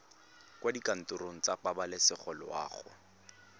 kwa dikantorong tsa pabalesego loago